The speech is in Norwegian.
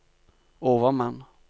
overmann